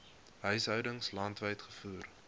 huishoudings landwyd gevoer